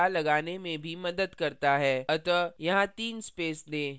अतः यहाँ तीन space space दें